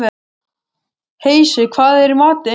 Heisi, hvað er í matinn?